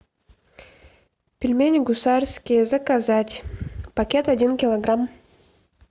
пельмени гусарские заказать пакет один килограмм